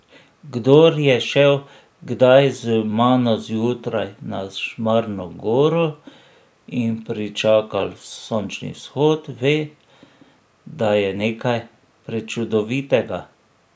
Kdor je šel kdaj z mano zjutraj na Šmarno goro in pričakal sončni vzhod, ve, da je nekaj prečudovitega.